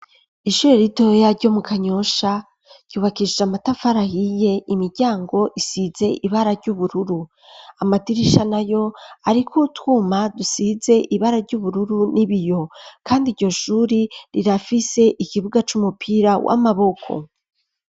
Ishuri ridoya ryo mu kanyosha ryubakishise amatafarahiye imiryango isize ibara ry'ubururu amadirisha na yo, ariko uwutwuma dusize ibara ry'ubururu n'ibiyo, kandi iryo shuri rirafise ikibuga c'umupira w'amaboko.